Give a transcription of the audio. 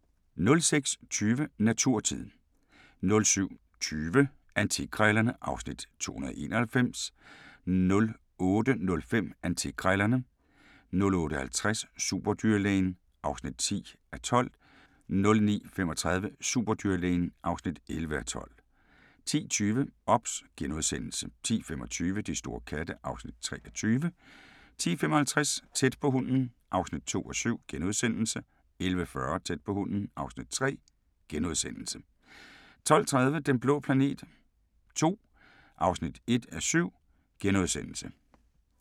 06:20: Naturtid 07:20: Antikkrejlerne (Afs. 291) 08:05: Antikkrejlerne 08:50: Superdyrlægen (10:12) 09:35: Superdyrlægen (11:12) 10:20: OBS * 10:25: De store katte (Afs. 23) 10:55: Tæt på hunden (2:7)* 11:40: Tæt på hunden (3:7)* 12:30: Den blå planet II (1:7)*